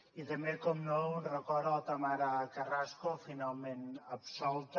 i també naturalment un record a la tamara carrasco finalment absolta